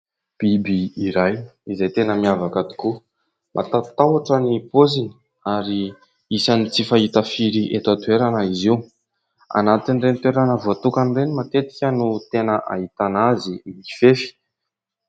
Biby iray izay tena miavaka tokoa mampatahotra ny paoziny ary isan'ny tsy fahita firy eto an-toerana izy io, anatin'ireny toerana voatokana ireny matetika no tena ahitana azy mifefy.